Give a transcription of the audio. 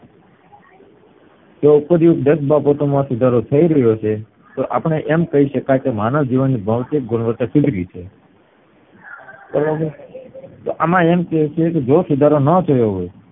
જો ઉપરની દસ વસ્તુ માં સુધારો થઈ રહ્યો છે તો અપડે એમ કય શકાય કે માનવ જીવનની ભૌતિક ગુણવત્તા સુધારી છે બરોબર તો તો એમાં એમ કે છે જો સુધારો નો થયો હોય